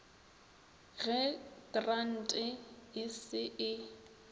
ge krante e se e